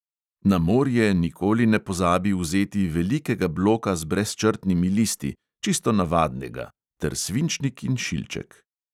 Na morje nikoli ne pozabi vzeti velikega bloka z brezčrtnimi listi, čisto navadnega, ter svinčnik in šilček.